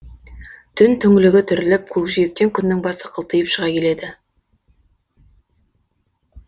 түн түңлігі түріліп көкжиектен күннің басы қылтиып шығып келеді